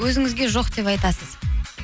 өзіңізге жоқ деп айтасыз